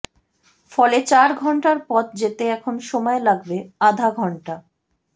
ফলে চার ঘন্টার পথ যেতে এখন সময় লাগবে আধা ঘন্টা